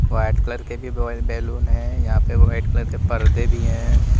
White colour की भी ब बैलून है यहां पे वाइट कलर के पर्दे भी है।